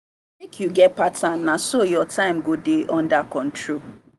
make you get pattern na so your time go dey under control.